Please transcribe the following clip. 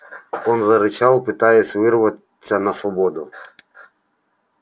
он зарычал пытаясь вырваться на свободу